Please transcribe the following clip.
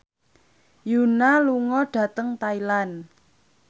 Yoona lunga dhateng Thailand